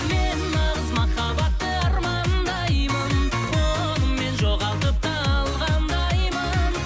мен нағыз махаббатты армандаймын оны мен жоғалтып та алғандаймын